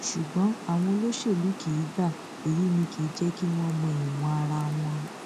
ṣùgbọn àwọn olóṣèlú kì í gba èyí ni kì í jẹ kí wọn mọ ìwọn ara wọn